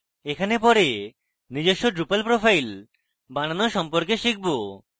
এখানে পরে নিজস্ব drupal profile বানানো সম্পর্কে শিখব